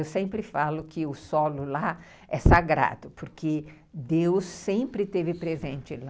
Eu sempre falo que o solo lá é sagrado, porque Deus sempre esteve presente lá.